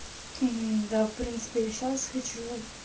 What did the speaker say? мм да в принципе я сейчас хочу